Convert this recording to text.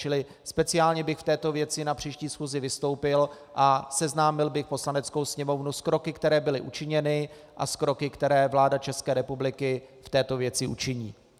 Čili speciálně bych v této věci na příští schůzi vystoupil a seznámil bych Poslaneckou sněmovnu s kroky, které byly učiněny, a s kroky, které vláda České republiky v této věci učiní.